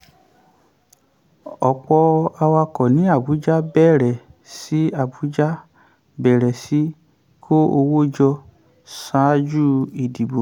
ọ̀pọ̀ awakọ̀ ní abuja bẹ̀rẹ̀ sí abuja bẹ̀rẹ̀ sí kó owó jọ ṣáájú ìdìbò.